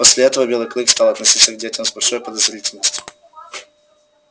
после этого белый клык стал относиться к детям с большой подозри-тельностью